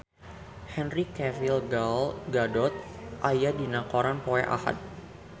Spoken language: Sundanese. Henry Cavill Gal Gadot aya dina koran poe Ahad